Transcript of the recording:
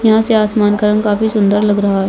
यहाँ से सामान का रंग काफी सुंदर लग रहा है।